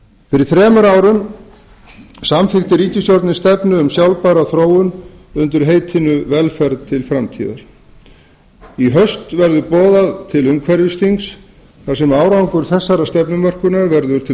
fyrir þremur árum samþykkti ríkisstjórnin stefnu um sjálfbæra þróun undir heitinu velferð til framtíðar í haust verður boðað til umhverfisþings þar sem árangur þessarar stefnumörkunar verður til